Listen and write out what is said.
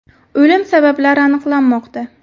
O‘lim sabablari aniqlanmoqda.